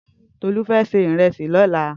Tolu fè sè irèsí lòlá